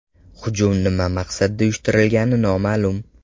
Hujum nima maqsadda uyushtirilgani noma’lum.